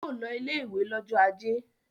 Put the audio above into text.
Yóò lọ ilé-ìwé lọ́jọ́ ajé!